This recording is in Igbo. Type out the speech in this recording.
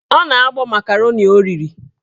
Ọ na-agbọ makaroni o riri